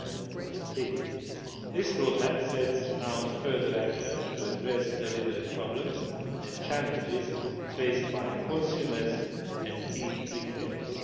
2013. This roadmap sets out further actions to address the delivery problems and challenges faced by consumers and e retailers.